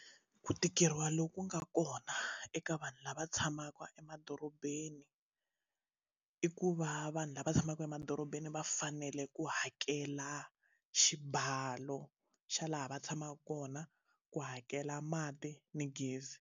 Ku tikeriwa loku nga kona eka vanhu lava tshamaka emadorobeni i ku va vanhu lava tshamaka emadorobeni va fanele ku hakela xibalo xa laha va tshamaka kona ku hakela mati na gezi.